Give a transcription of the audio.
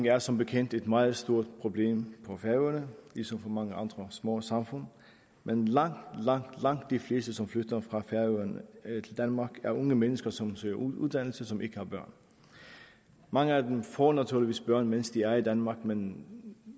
er som bekendt et meget stort problem for færøerne ligesom for mange andre små samfund men langt langt langt de fleste som flytter fra færøerne til danmark er unge mennesker som søger uddannelse og som ikke har børn mange af dem får naturligvis børn mens de er i danmark men